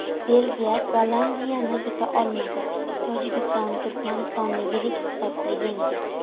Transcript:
Belgiya Gollandiyani yuta olmadi, Tojikiston Turkmanistonni yirik hisobda yengdi.